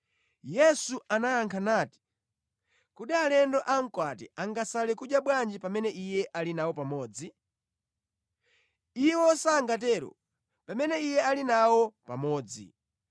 Yesu anayankha nati, “Kodi alendo a mkwati angasale kudya bwanji pamene iye ali nawo pamodzi? Iwo sangatero, pamene iye ali nawo pamodzi.